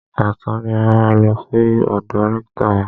Ọ̀sán ni a máa lọ sí ọ̀dọ̀ rẹ́ktọ̀ wa.